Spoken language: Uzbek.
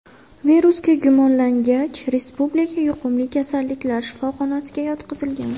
Virusga gumonlangach, Respublika yuqumli kasalliklar shifoxonasiga yotqizilgan.